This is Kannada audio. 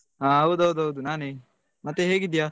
ಹೌದೌದು ನಾನೆ ಮತ್ತೆ ಹೇಗಿದ್ದೀಯ?